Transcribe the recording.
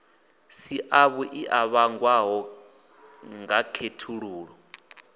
si avhuḓi a vhangwaho ngakhethululo